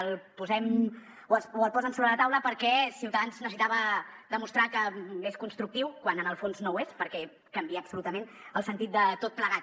el posem o el posen sobre la taula perquè ciutadans necessitava demostrar que és constructiu quan en el fons no ho és perquè canvia absolutament el sentit de tot plegat